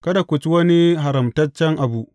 Kada ku ci wani haramtaccen abu.